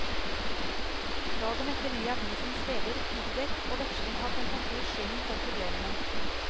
Dagen etter gir avisens leder piggdekk og veksling av temperatur skylden for problemene.